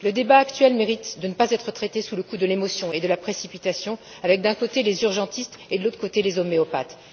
Le débat actuel mérite de ne pas être traité sous le coup de l'émotion et de la précipitation avec, d'un côté, les urgentistes et, de l'autre côté, les homéopathes.